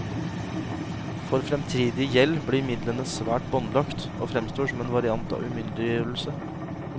For fremtidig gjeld blir midlene svært båndlagt, og fremstår som en variant av umyndiggjørelse.